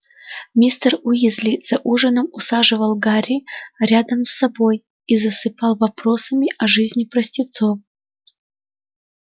мистер уизли за ужином усаживал гарри рядом с собой и засыпал вопросами о жизни простецов